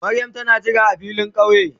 Mariam tana ka jira a filin kauye ne?